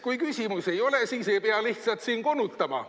"Kui küsimusi ei ole, siis ei pea lihtsalt siin konutama.